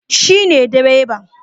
Shi ne direban